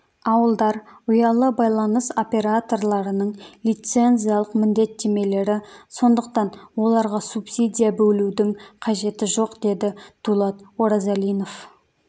ауылдар ұялы байланыс операторларының лицензиялық міндеттемелері сондықтан оларға субсидия бөлудің қажеті жоқ деді дулат оразалинов